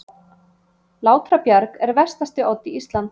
Látrabjarg er vestasti oddi Íslands.